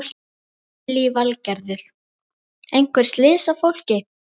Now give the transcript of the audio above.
Lillý Valgerður: Einhver slys á fólki?